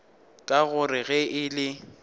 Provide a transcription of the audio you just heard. ka gore ge e le